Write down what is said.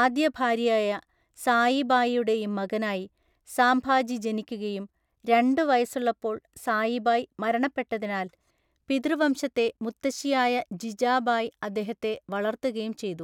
ആദ്യഭാര്യയായ സായിബായിയുടെയും മകനായി സാംഭാജി ജനിക്കുകയും, രണ്ട് വയസ്സുള്ളപ്പോൾ സായിബായ് മരണപ്പെട്ടതിനാൽ പിതൃവംശത്തെ മുത്തശ്ശിയായ ജിജാബായ് അദ്ദേഹത്തെ വളർത്തുകയും ചെയ്തു.